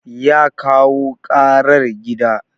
Ya kawo karar gida.